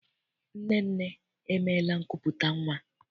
Nnenne emeela nkupụta nnwa?